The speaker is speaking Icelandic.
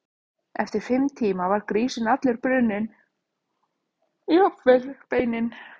Eftir fimm tíma var grísinn allur brunninn, jafnvel beinin.